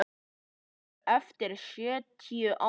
Þau eru eftir sextíu ár.